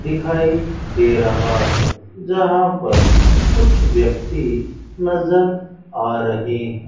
दिखाई दे रहा है जहां पर कुछ व्यक्ति नजर आ रहे हैं।